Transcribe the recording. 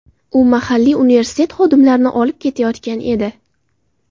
U mahalliy universitet xodimlarini olib ketayotgan edi.